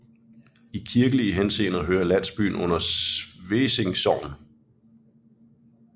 I kirkelig henseende hører landsbyen under Svesing Sogn